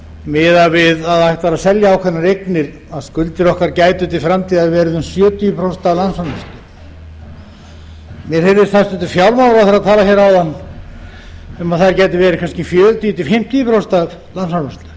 miðað við að það ætti að selja ákveðnar eignir að skuldir okkar gætu til framtíðar verið um sjötíu prósent af landsframleiðslu mér heyrðist hæstvirtur fjármálaráðherra tala áðan um að þær getu verið kannski fjörutíu til fimmtíu prósent af landsframleiðslu